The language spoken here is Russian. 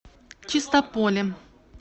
чистополе